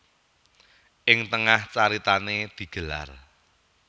Ing tengah caritané digelar